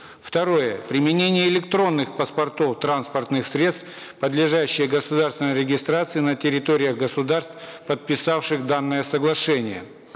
второе применение электронных паспортов транспортных средств подлежащее государственной регистрации на территориях государств подписавших данное соглашение